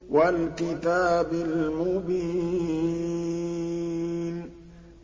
وَالْكِتَابِ الْمُبِينِ